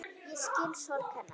Ég skil sorg hennar.